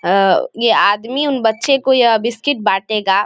अ ये आदमी उन बच्चे को यह बिस्किट बाटेगा।